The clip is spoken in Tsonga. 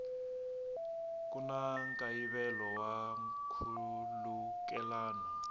ku na nkayivelo wa nkhulukelano